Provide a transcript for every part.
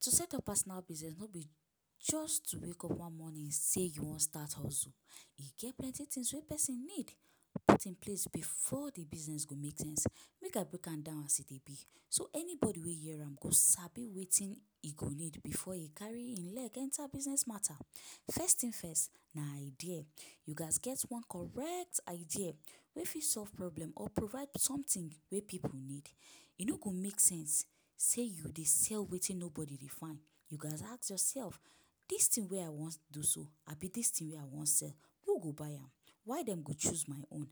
To set up personal business no be just to wake up one morning sey you wan start hustle. E get plenty things wey pesin need put in place before the business go make sense. Make I break am down as e dey be so anybody wey hear am go sabi wetin e go need before e carry e leg enter business mata. First thing first na idea. You gats get one correct idea wey fit solve problem or provide something wey pipu need. E no go make sense sey you dey sell wetin nobody dey find. You gats ask yourself ‘Dis thing wey I wan do so abi dis thing wey I wan sell, who go buy am? Why dem go choose my own?’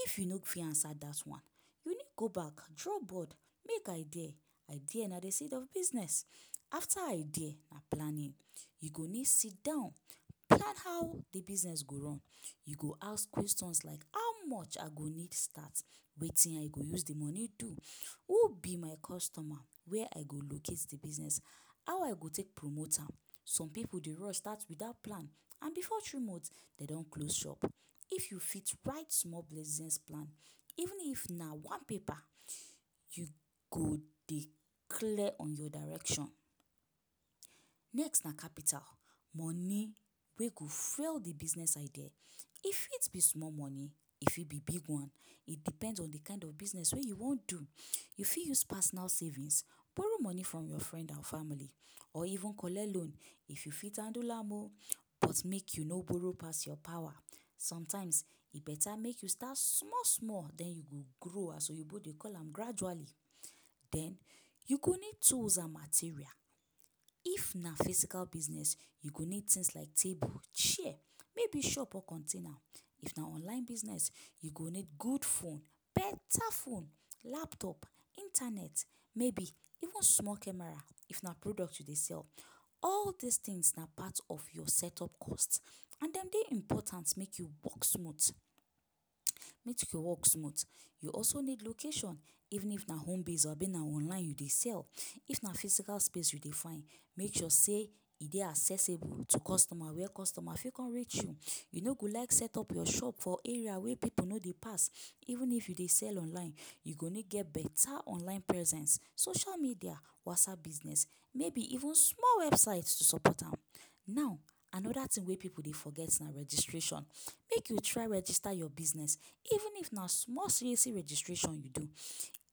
If you no fit answer that one, you need go back, draw board, make idea. Idea na the seed of business. After idea na planning. You go need sidan plan how the business go run. You go ask questions like ‘how much I go need start, wetin I go use de money do, who be my customer, where I go locate de business, how I go take promote am.’ Some pipu dey rush start without plan and before three month, dem don close shop. If you fit write small plan, even if na one paper, you go dey clear on your direction. Next na capital- money wey go fuel the business idea. E fit be small money; e fit be big one. It depends on de kind of business wey you wan do. You fit use personal savings, borrow money from you friend and family or even collect loan, if you fit handle am o! But make you no borrow pass your power. Sometimes, e better make you start small-small, den you go grow as oyibo dey call am ‘gradually’. Den, you go need tools and material. If na physical business, you go need things like table, chair, maybe shop or container. If na online business, you go need good phone - better phone, laptop, internet, maybe even small camera if na product you dey sell. All dis things na part of your setup cost. And dem dey important make you work smooth your work smooth. You also need location even if na homebase abi na online you dey sell. If na physical space you dey find, make sure sey e dey accessible to customer, where customer fit come reach you. You no go like setup your shop for area wey pipu no dey pass. Even if you dey sell online, you go need get better online presence - social media, WhatsApp Business, maybe even small website to support am. Now, another thing wey pipu dey forget na registration. Make you try register your business, even if na small CAC registration you do.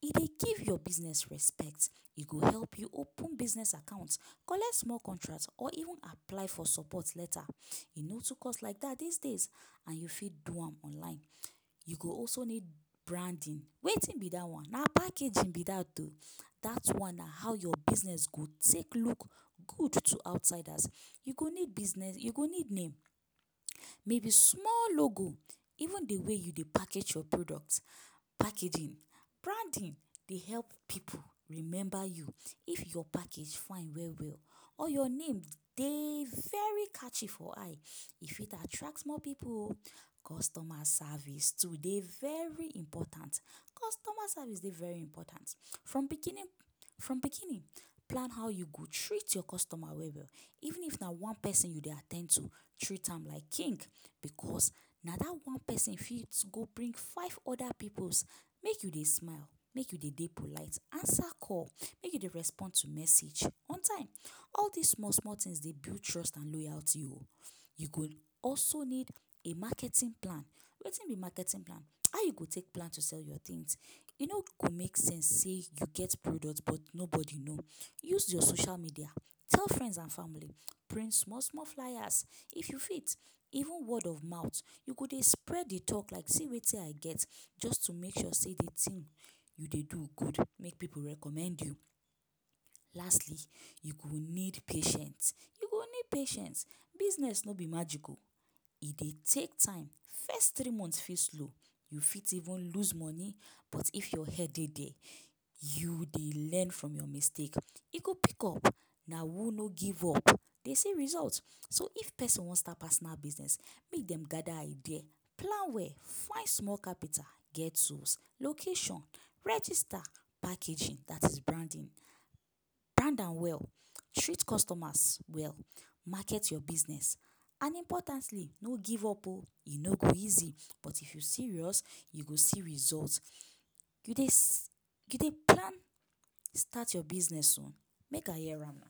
E dey give your business respect, e go help you open business account, collect small contract or even apply for support later. E no too cost like dat these days and you fit do am online. You go also need branding. Wetin be dat one? Na packaging be dat o! Dat one na how your business go take look good to outsiders. You go need business you go need name um, maybe small logo. Even the way you dey package your product – packaging. Branding dey help pipu remember you if your package fine well-well or your name dey very catchy for eye. E fit attract more pipu o! Customer service too dey very important. Customer service dey very important. From beginning from beginning, plan how you go treat your customer well-well. Even if na one pesin you dey at ten d to, treat am like king, because na that one pesin fit go bring five other pipus. Make you dey smile, make you dey dey polite, answer call, make you dey respond to message on time. All dis small-small things dey build trust and loyalty o! You go also need a marketing plan. Wetin be marketing plan? How you go take plan to sell your things. E no go make sense sey you get product but nobody know. Use your social media, tell friends and family, print small-small fliers if you fit. Even word of mouth - you go dey spread the talk like ‘see wetin I get’, just to make sure sey de thing you dey do good make pipu recommend you. Lastly, you go need patient. You go need patience. Business no be magic o! E dey take time. First three months fit slow, you fit even lose money. But if your head dey there, you dey learn from your mistake. E go pick up. Na who no give up dey see result. So if pesin wan start personal business, make dem gather idea, plan well, find small capital, get tools, location, register, packaging; dat is branding. Brand am well, treat customers well, market your business and importantly, no give up o! E no go easy, but if you serious, you go see result. You dey you dey plan start your business soon? Make I hear am na?